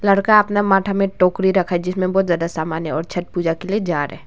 लड़का का अपना माथा में टोकरी रखा है जिसमें बहुत सारा सामान है और छठ पूजा के लिए जा रहे है।